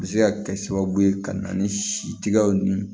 A bɛ se ka kɛ sababu ye ka na ni si tigɛw ni